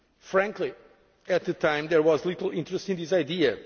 Frankly, at the time, there was little interest in this